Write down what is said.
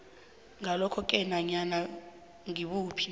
ngalokhoke nanyana ngibuphi